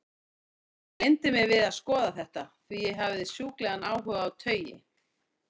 Ég gleymdi mér við að skoða þetta, því ég hafði sjúklegan áhuga á taui.